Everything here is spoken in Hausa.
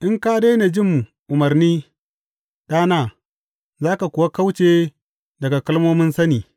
In ka daina jin umarni, ɗana, za ka kuwa kauce daga kalmomin sani.